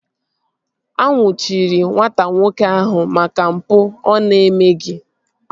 A nnwuchiri nwata nwoke ahụ maka mpụ ọ na-emeghị